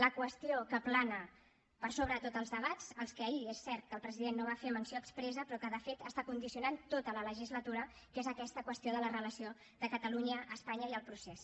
la qüestió que plana per sobre de tots els debats a la qual ahir és cert el president no va fer menció expressa però que de fet està condicionant tota la legislatura que és aquesta qüestió de la relació de catalunya espanya i el procés